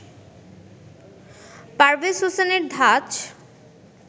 পারভেজ হোসেনের ধাঁচ